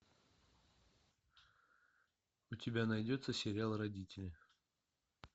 у тебя найдется сериал родители